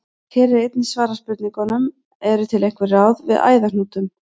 Hér er einnig svarað spurningunum: Eru til einhver ráð við æðahnútum?